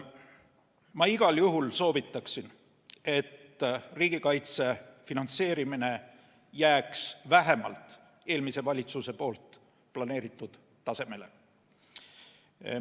Ma igal juhul soovitan, et riigikaitse finantseerimine jääks vähemalt eelmise valitsuse planeeritud tasemele.